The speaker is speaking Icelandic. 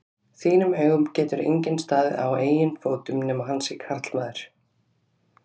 þínum augum getur enginn staðið á eigin fótum nema hann sé karlmaður.